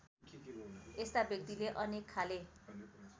यस्ता व्यक्तिले अनेकखाले